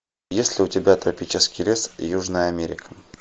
есть ли у тебя тропический лес южная америка